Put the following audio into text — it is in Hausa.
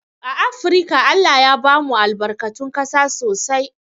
A afrika ALLAH ya bamu albarkatun ƙasa sosai